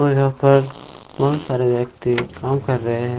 और यहां पर बहुत सारे व्यक्ति काम कर रहे हैं।